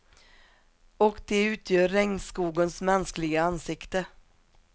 Och de utgör regnskogens mänskliga ansikte.